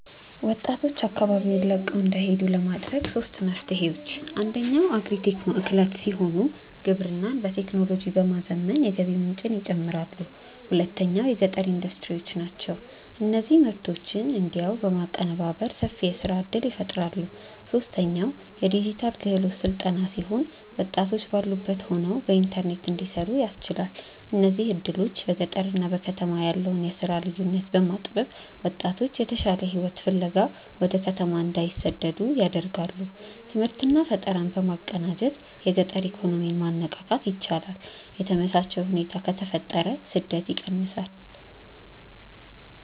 ወጣቶች አካባቢውን ለቀው እንዳይሄዱ ለማድረግ ሦስት መፍትሄዎች፦ አንደኛው አግሪ-ቴክ ማዕከላት ሲሆኑ፣ ግብርናን በቴክኖሎጂ በማዘመን የገቢ ምንጭን ይጨምራሉ። ሁለተኛው የገጠር ኢንዱስትሪዎች ናቸው፤ እነዚህ ምርቶችን እዚያው በማቀነባበር ሰፊ የሥራ ዕድል ይፈጥራሉ። ሦስተኛው የዲጂታል ክህሎት ሥልጠና ሲሆን፣ ወጣቶች ባሉበት ሆነው በኢንተርኔት እንዲሠሩ ያስችላል። እነዚህ ዕድሎች በገጠርና በከተማ ያለውን የሥራ ልዩነት በማጥበብ ወጣቶች የተሻለ ሕይወት ፍለጋ ወደ ከተማ እንዳይሰደዱ ያደርጋሉ። ትምህርትና ፈጠራን በማቀናጀት የገጠር ኢኮኖሚን ማነቃቃት ይቻላል። የተመቻቸ ሁኔታ ከተፈጠረ ስደት ይቀንሳል።